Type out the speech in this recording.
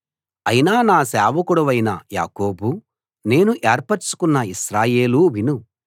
అయినా నా సేవకుడవైన యాకోబూ నేను ఏర్పరచుకొన్న ఇశ్రాయేలూ విను